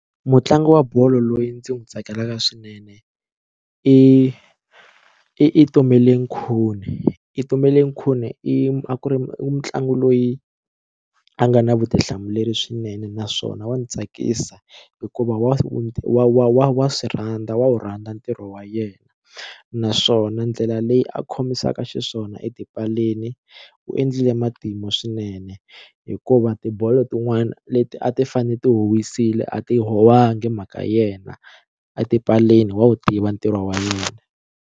Mutlangi wa bolo loyi ndzi n'wi tsakelaka swinene i i Itumeleng Khune Itumeleng Khune i a ku ri mutlangi loyi a nga na vutihlamuleri swinene naswona wa ndzi tsakisa hikuva wa wa wa swi rhandza wa wu rhandza ntirho wa yena naswona ndlela leyi a khomisaka xiswona etipaleni u endlile matimu swinene hikuva tibolo tin'wana leti a ti fane ti huwisile a ti howangi hi mhaka yena etipaleni wa wu tiva ntirho wa yena.